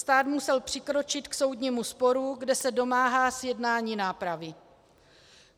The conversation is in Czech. Stát musel přikročit k soudnímu sporu, kde se domáhá zjednání nápravy.